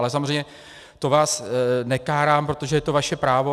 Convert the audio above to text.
Ale samozřejmě to vás nekárám, protože to je vaše právo.